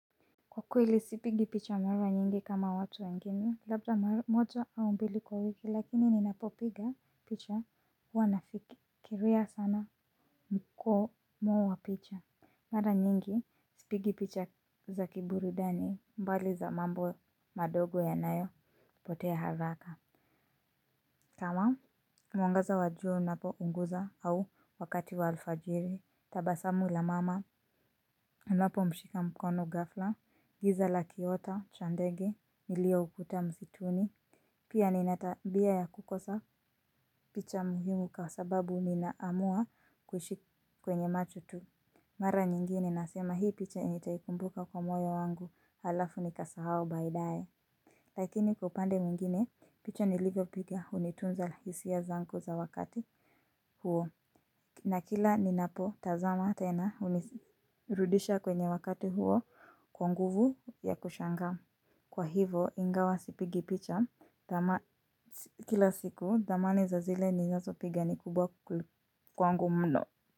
Kwa kweli sipigi picha mara nyingi kama watu wengine labda mara moja au mbili kwa wiki lakini ninapopiga picha huwa nafikiria sana mkomo wa picha. Mara nyingi sipigi picha za kiburudani mbali za mambo madogo yanayopotea haraka Tawam, mwangaza wa jua unapounguza au wakati wa alfajiri, tabasamu la mama, unapomshika mkono ghafla, giza la kiota, cha ndege, nilioukuta msituni. Pia ninatabia ya kukosa picha muhimu kwa sababu ninaamua kushiriki kwenye macho tu. Mara nyingine nasema hii picha nitaikumbuka kwa moyo wangu halafu nikaisahau baidae. Lakini kwa upande mwingine picha nilivopiga unitunza hisia zangu za wakati huo na kila ninapotazama tena unirudisha kwenye wakati huo kwa nguvu ya kushangaa. Kwa hivo ingawa sipigi picha kila siku dhamani za zile ninazopiga ni kubwa kwangu mno.